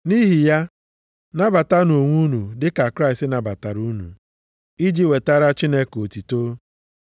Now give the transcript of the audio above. Nʼihi ya, nabatanụ onwe unu dị ka Kraịst nabatara unu, iji wetara Chineke otuto.